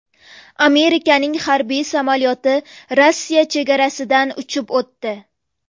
Amerikaning harbiy samolyoti Rossiya chegarasidan uchib o‘tdi.